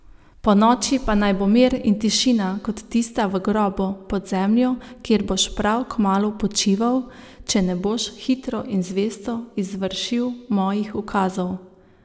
Ponoči pa naj bo mir in tišina kot tista v grobu, pod zemljo, kjer boš prav kmalu počival, če ne boš hitro in zvesto izvršil mojih ukazov!